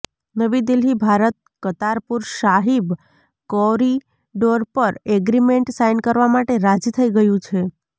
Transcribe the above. નવી દિલ્હીઃ ભારત કરતારપુર સાહિબ કોરિડોર પર agreement sign કરવા માટે રાજી થઇ ગયું છે